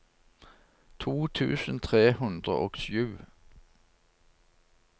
to tusen tre hundre og sju